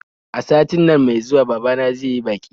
A satin nan mai zuwa babana zai yi baƙi